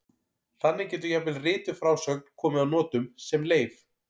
Þannig getur jafnvel rituð frásögn komið að notum sem leif.